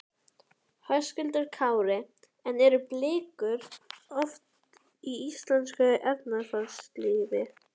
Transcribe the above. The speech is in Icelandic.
Höskuldur Kári: En eru blikur á lofti í íslensku efnahagslífi?